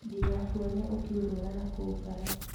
Ndigakuone ũkĩũrũra nakũu bara